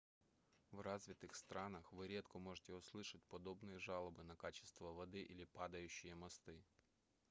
в развитых странах вы редко можете услышать подобные жалобы на качество воды или падающие мосты